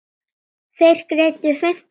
Þeir greiddu fimmtán dali fyrir.